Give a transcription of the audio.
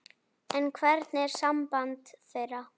En hvernig er samband þeirra?